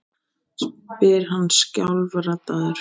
spyr hann skjálfraddaður.